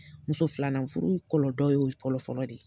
Muso filanan furu kɔlɔdɔ y'o fɔlɔ fɔlɔ de ye